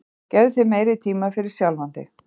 gefðu þér meiri tíma fyrir sjálfan þig